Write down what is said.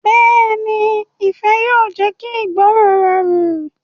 Bẹ́ẹ̀ni, ifẹ yóò jẹ ki ìgbọràn rọrun.